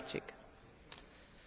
Pani Przewodnicząca!